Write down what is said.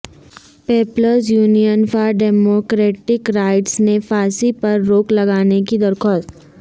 Peoples union for democratic rights نے پھانسی پر روک لگانے کی درخواست